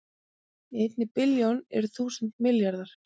Í einni billjón eru þúsund milljarðar